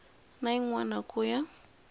na yin wana ku ya